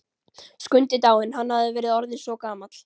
Skundi dáinn, hann hafði verið orðinn svo gamall.